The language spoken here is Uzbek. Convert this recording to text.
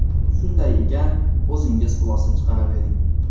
Shunday ekan, o‘zingiz xulosa chiqaravering.